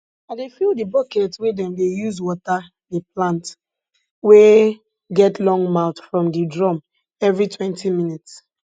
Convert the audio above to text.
i dey fill di bucket wey dem dey use water di plant wey get long mouth from di drum every twenty minutes